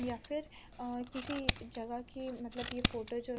या फिर अह किसी जगह की मतलब ये फोटो जो--